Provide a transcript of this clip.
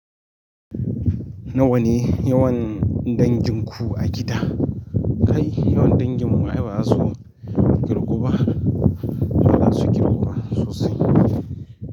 Nawa ne yawan danginku a gida? Kai yawan danginmu ai ba za su kirgu ba, ba za su kirgu ba sosai.